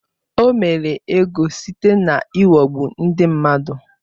O mere ego site n’ịghọgbu ndị mmadụ.